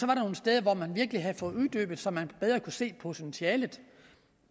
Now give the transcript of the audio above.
nogle steder hvor man virkelig havde fået uddybet det så man bedre kunne se potentialet